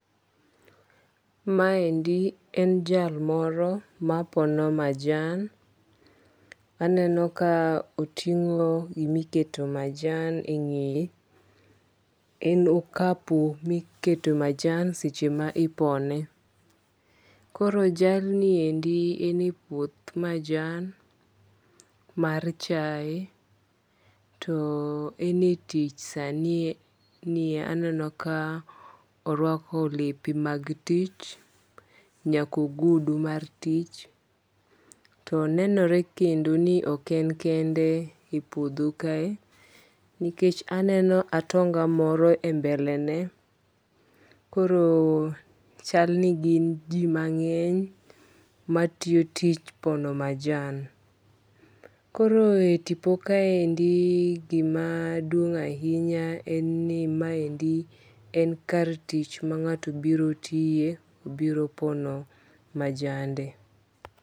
Ma endi en jal moro mapono majan. Aneno ka oting'o gimiketo majan e ng'eye. En okapu miketo majan seche ma ipone. Koro jalni endi en e puoth majan mar chae. To en e tich sani aneno ka orwako lepe mag tich, nyaka ogudu mar tich. To nenore kendo ni ok en kende e puodho kae nikech aneno atonga moro e mbele ne. Koro chal ni gin ji mang'eny matiyo tich pono majan. Koro e tipo kaendi gima duong' ahinya en ni maendi en kar tich mang'ato biro tiye, biro pono majande.